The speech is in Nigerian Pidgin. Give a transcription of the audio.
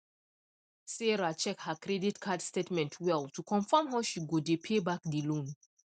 sarah check her credit card statement well to confirm how she go dey pay back the loan